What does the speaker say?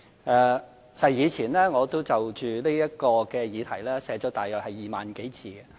其實，過往我曾就這項議題寫了大約2萬多字。